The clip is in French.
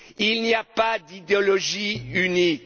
Il n'y a pas d'idéologie unique.